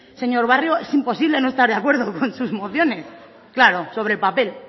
señor barrio es imposible no estar de acuerdo con sus mociones claro sobre el papel